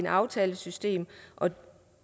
aftalesystemet og